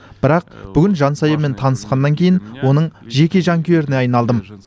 бірақ бүгін жансаямен танысқаннан кейін оның жеке жанкүйеріне айналдым